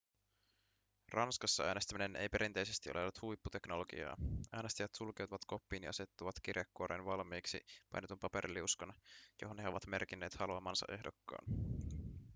ranskassa äänestäminen ei perinteisesti ole ollut huipputeknologiaa äänestäjät sulkeutuvat koppiin ja asettavat kirjekuoreen valmiiksi painetun paperiliuskan johon he ovat merkinneet haluamansa ehdokkaan